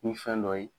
Ni fɛn dɔ ye